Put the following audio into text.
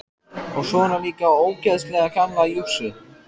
Og svona líka ógeðslega gamla jússu.